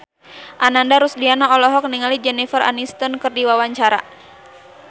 Ananda Rusdiana olohok ningali Jennifer Aniston keur diwawancara